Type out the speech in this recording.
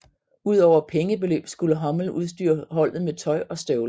Udover pengebeløb skulle hummel udstyre holdet med tøj og støvler